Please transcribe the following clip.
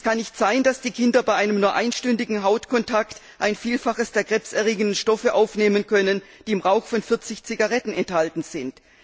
Es kann nicht sein, dass Kinder bei einem nur einstündigen Hautkontakt ein Vielfaches der krebserregenden Stoffe aufnehmen können, die im Rauch von 40 Zigaretten enthalten sind.